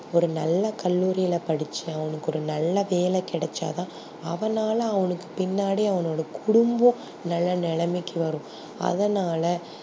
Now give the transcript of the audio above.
ஒரு நல்ல கல்லூரியில படிச்சி அவனுக்கு ஒரு நல்ல வேல கிடச்சாத அவனால அவனுக்கு பின்னாடி அவனோட குடும்பம் நல்ல நிலைமைக்கு வரும் அதானால